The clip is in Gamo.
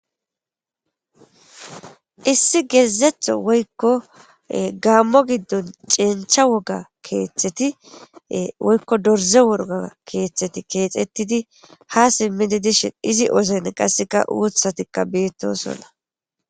Issi geezetho woykko gaammo giddon ceencha woga keeththeti woykko dorze worga keeththeti keexettidi ha simmidi dishin izi ozene qasseka uuthatikka beettosonna.